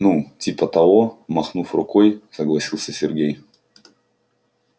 ну типа того махнув рукой согласился сергей